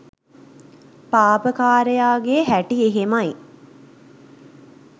පාපකාරයාගේ හැටි එහෙමයි